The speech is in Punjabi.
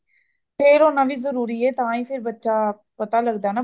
fail ਹੋਣਾ ਵੀ ਜਰੂਰੀ ਹੈ ਤਾ ਹੀ , ਬੱਚਾ ਪਤਾ ਲੱਗਦਾ ਹੈ